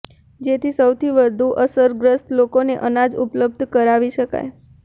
જેથી સૌથી વધુ અસરગ્રસ્ત લોકોને અનાજ ઉપલબ્ધ કરાવી શકાય